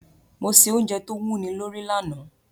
Mo se ounje to wúni lórí lanàá